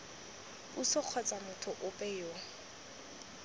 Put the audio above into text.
puso kgotsa motho ope yo